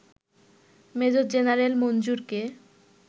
major general মঞ্জুরকে